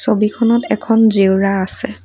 ছবিখনত এখন জেওৰা আছে।